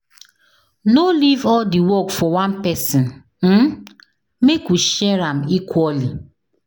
No leave all the work for one person, um make we share am equally.